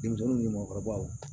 Denmisɛnninw ni mɔgɔkɔrɔbaw